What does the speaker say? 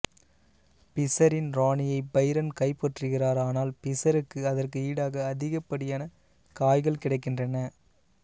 பிசரின் இராணியை பைரன் கைப்பற்றுகிறார் ஆனால் பிசருக்கு அதற்கு ஈடாக அதிகப்படியான காய்கள் கிடைக்கின்றன